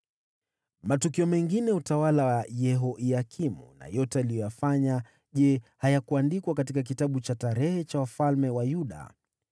Matukio mengine ya utawala wa Yehoyakimu na yote aliyoyafanya, je, hayakuandikwa katika kitabu cha kumbukumbu za wafalme wa Yuda?